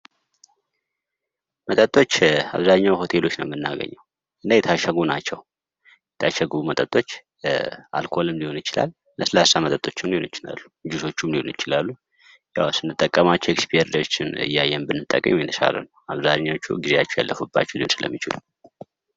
መጠጦች አብዛኛው ሆቴሎች ነው የምናገኘው እና የታሸጉ ናቸው:: የታሸጉ መጠጦች አልኮልም ልሆም ይችላል ለስላሳ መጠጦችም ሊሆኑ ይችላሉ:: ልጆችም ሊሆኑ ይችላሉ ያው ስንጠቀማቸው ኤክስፓየር እያየን ብንጠቀም የተሻለ ነው:: አብዛኞቹ ግዜው ያለፈባቸው ሊሆን ስለሚችሉ::